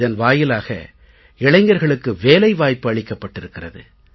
இதன் வாயிலாக இளைஞர்களுக்கு வேலை வாய்ப்பு அளிக்கப்பட்டிருக்கிறது